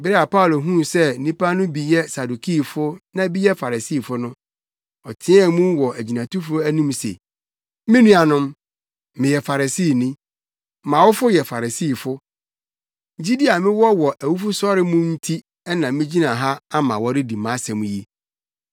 Bere a Paulo huu sɛ nnipa no bi yɛ Sadukifo na bi yɛ Farisifo no, ɔteɛɛ mu wɔ agyinatufo no anim se, “Me nuanom, meyɛ Farisini. Mʼawofo yɛ Farisifo. Gyidi a mewɔ wɔ awufosɔre mu no nti na migyina ha ama wɔredi mʼasɛm yi.”